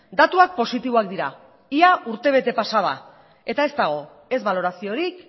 datuak positiboak dira ia urtebete pasa da eta ez dago ez baloraziorik